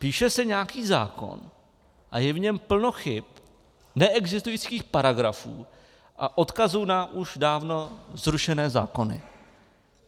Píše se nějaký zákon a je v něm plno chyb, neexistujících paragrafů a odkazů na už dávno zrušené zákony.